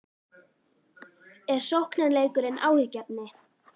Er sóknarleikurinn áhyggjuefni?